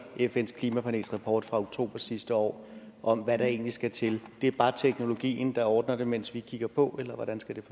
fns klimapanels rapport fra oktober sidste år om hvad der egentlig skal til det er bare teknologien der ordner det mens vi kigger på eller hvordan skal